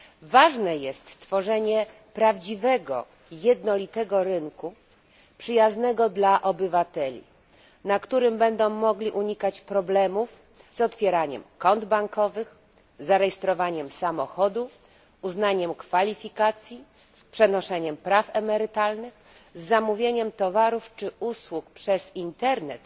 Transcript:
Ważne jest stworzenie prawdziwego, jednolitego rynku przyjaznego dla obywateli, na którym będą mogli oni unikać problemów z otwieraniem kont bankowych, zarejestrowaniem samochodów, uznaniem kwalifikacji, przenoszeniem praw emerytalnych, zamawianiem towarów i usług przez Internet